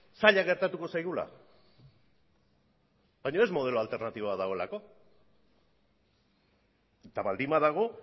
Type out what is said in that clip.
zaila gertatuko zaigula baino ez modelo alternatiboa dagoelako eta baldin badago